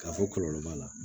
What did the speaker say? K'a fɔ kɔlɔlɔ b'a la